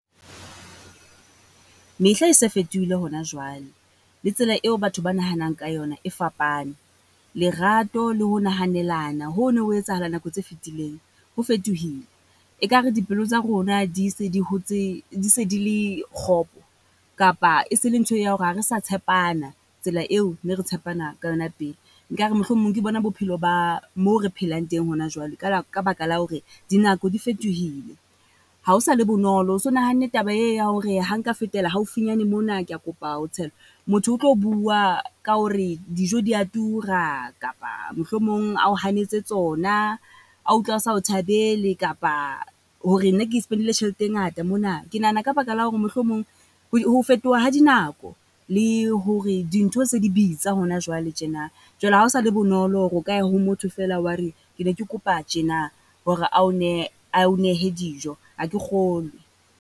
Mehla e se fetohile hona jwale, le tsela eo batho ba nahanang ka yona e fapane. Lerato le ho nahanelana ho no ho etsahala nako tse fitileng ho fetohile. E kare dipelo tsa rona di se di hotse, di se di le kgopo, kapa e se le ntho ya hore ha re sa tshepana tsela eFFo ne re tshepana ka yona pele. Nkare mohlomong ke bona bophelo ba mo re phelang teng hona jwale, ka baka la hore dinako di fetohile. Ha ho sa le bonolo ho so nahanne taba e ya hore ha nka fetela haufinyane mona. Ke a kopa ho motho o tlo bua ka hore dijo di a tura kapa mohlomong a ho hanetse tsona. A utlwa a sa o thabele, kapa hore nna ke spend-ile tjhelete e ngata mona. Ke nahana ka baka la hore mohlomong ho fetoha ha dinako le hore dintho se di bitsa hona jwale tjena. Jwale ha o sa le bonolo hore o ka ya ho motho feela wa re ke ne ke kopa tjena hore ao nehe ao nehe dijo, ha ke kgolwe.